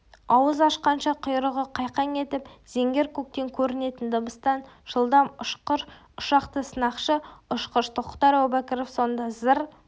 ауыз ашқанша құйрығы қайқаң етіп зеңгір көктен көрінетін дыбыстан жылдам ұшқыр ұшақты сынақшы-ұшқыш тоқтар әубәкіров сонда зыр